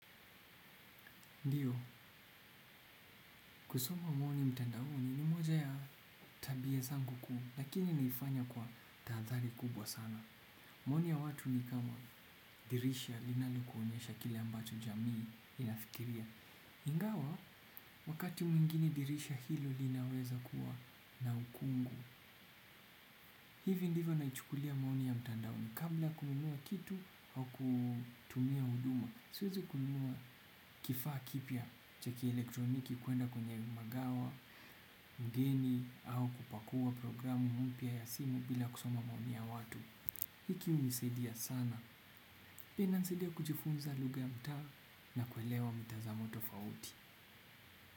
Ndiyo, kusoma maoni mtandaoni ni moja ya tabia zangu kuu, lakini naifanya kwa tahadhari kubwa sana. Maoni ya watu ni kama dirisha linalokuonyesha kile ambacho jamii inafikiria. Ingawa, wakati mwingine dirisha hilo linaweza kuwa na ukungu. Hivyo ndivyo naichukulia maoni ya mtandaoni kabla ya kununua kitu au kutumia huduma. Siwezi kununua kifaa kipya cha kielektroniki kwenda kwenye magawa, mgeni, au kupakua programu mpya ya simu bila kusoma maoni ya watu kihunisaidia sana inanisaidia kujifunza lugha ya mtaa na kuelewa mitazamo tofauti.